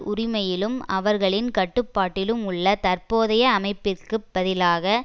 உரிமையிலும் அவர்களின் கட்டுப்பாட்டிலும் உள்ள தற்போதைய அமைப்பிற்கு பதிலாக